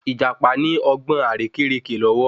Ìjàpá ní ọgbọ́n àrékérekè lọ́wọ́